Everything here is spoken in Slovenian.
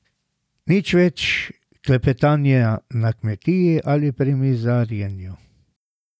Nič več klepetanja na kmetiji ali pri mizarjenju.